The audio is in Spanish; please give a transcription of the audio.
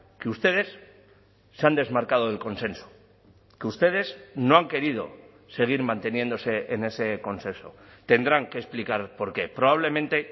que ustedes se han desmarcado del consenso que ustedes no han querido seguir manteniéndose en ese consenso tendrán que explicar por qué probablemente